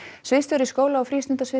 sviðsstjóri skóla og